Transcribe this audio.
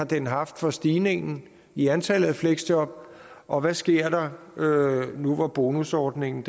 den har haft for stigningen i antallet af fleksjob og hvad sker der nu hvor bonusordningen